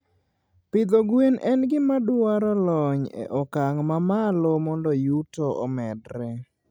Pidho gwen en gima dwaro lony e okang' mamalo mondo yuto omedre.